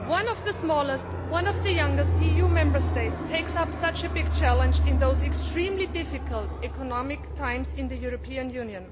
One of the smallest and one of the youngest EU Member States is taking up such a big challenge in these extremely difficult economic times in the European Union.